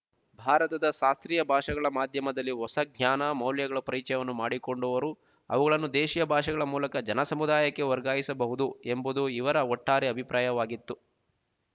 ಭಾರತದ ಶಾಸ್ತ್ರೀಯ ಭಾಷೆಗಳ ಮಾಧ್ಯಮದಲ್ಲಿ ಹೊಸ ಜ್ಞಾನ ಮೌಲ್ಯಗಳ ಪರಿಚಯವನ್ನು ಮಾಡಿಕೊಂಡವರು ಅವುಗಳನ್ನು ದೇಶಿಯ ಭಾಷೆಗಳ ಮೂಲಕ ಜನಸಮುದಾಯಕ್ಕೆ ವರ್ಗಾಯಿಸಬಹುದು ಎಂಬುದು ಇವರ ಒಟ್ಟಾರೆ ಅಭಿಪ್ರಾಯವಾಗಿತ್ತು